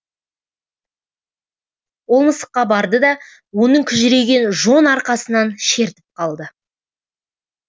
ол мысыққа барды да оның күжірейген жон арқасынан шертіп қалды